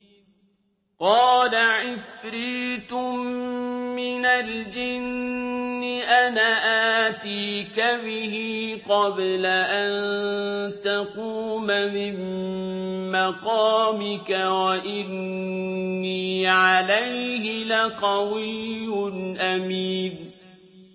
قَالَ عِفْرِيتٌ مِّنَ الْجِنِّ أَنَا آتِيكَ بِهِ قَبْلَ أَن تَقُومَ مِن مَّقَامِكَ ۖ وَإِنِّي عَلَيْهِ لَقَوِيٌّ أَمِينٌ